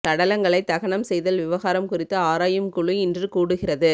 சடலங்களை தகனம் செய்தல் விவகாரம் குறித்து ஆராயும் குழு இன்று கூடுகிறது